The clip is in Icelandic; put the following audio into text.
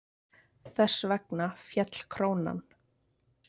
Þess vegna féll krónan.